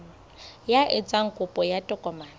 ya etsang kopo ya tokomane